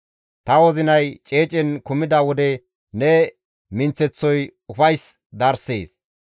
Ta wozinay ceecen kumida wode ne minththeththoy ufays darsees.